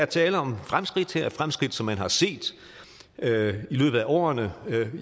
tale om fremskridt her fremskridt som man har set i løbet af årene